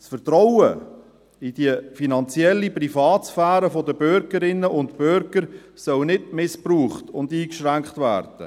Das Vertrauen in die finanzielle Privatsphäre der Bürgerinnen und Bürger soll nicht missbraucht und eingeschränkt werden.